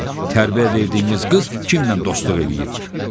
Baxın, tərbiyə verdiyiniz qız kimlə dostluq eləyir?